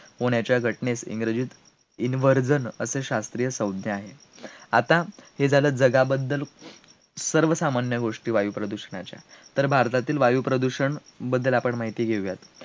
होण्याच्या घटनेस इंग्रजीत, inversion असे शास्त्रीय सद्य आहे, आता हे झालं जगाबद्दल सर्व सामान्य गोष्टी वायुप्रदूषणाच्या, तर भारतातील वायुप्रदूषण बद्दल आपण माहिती घेऊयात